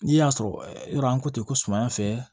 N'i y'a sɔrɔ yɔrɔ ko tɛ ko sumaya fɛ